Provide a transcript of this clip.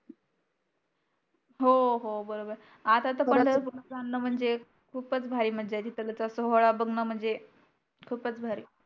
हो हो बरोबर आहे. आता तर पंढरपूरला जाणं म्हणजे खूपच भारी मजा तीथ तर होळा बघण म्हनजे खूपच भारी